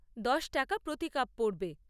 দশ টাকা প্রতি কাপ পড়বে।